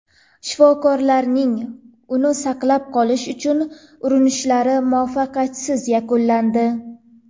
Shifokorlarning uni saqlab qolish uchun urinishlari muvaffaqiyatsiz yakunlandi.